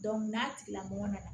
n'a tigilamɔgɔ nana